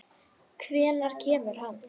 Hvenær kemur hann?